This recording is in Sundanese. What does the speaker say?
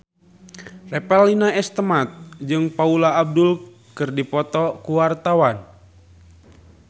Revalina S. Temat jeung Paula Abdul keur dipoto ku wartawan